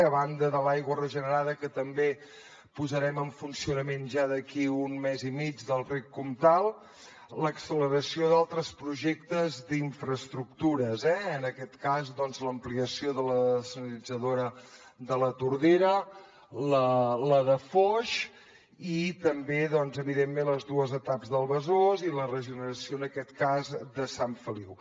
a banda de l’aigua regenerada que també posarem en funcionament ja d’aquí un mes i mig del rec comtal l’acceleració d’altres projectes d’infraestructures en aquest cas doncs l’ampliació de la dessalinitzadora de la tordera la de foix i també evidentment les dues etaps del besòs i la regeneració en aquest cas de sant feliu